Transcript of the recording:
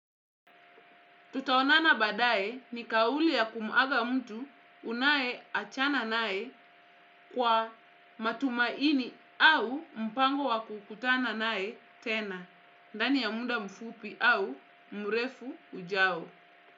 Tutaonana baadae ni kauli ya kumuaga mtu unae achana nae kwa matumaini au mpango wa kukutana nae tena, ndani ya muda mfupi au mrefu ujao.